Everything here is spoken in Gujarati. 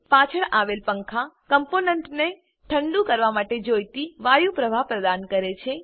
પાછળ આવેલ પંખા કમ્પોનન્ટને ઠંડુ કરવા માટે જોઈતી વાયુ પ્રવાહ પ્રદાન કરે છે